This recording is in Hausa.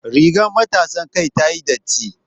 Rigar matasan kai tayi datti